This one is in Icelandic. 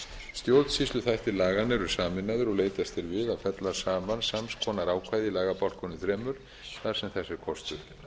ríkt um stjórnsýsluþættir laganna eru sameinaðir og leitast er við að fella saman sams konar ákvæði í lagabálkunum þremur þar sem þess er kostur